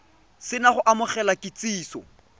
se na go amogela kitsiso